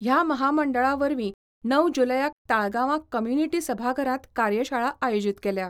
ह्या महामंडळा वरवीं णव जुलयाक ताळगांवां कम्युनिटी सभाघरांत कार्यशाळा आयोजीत केल्या.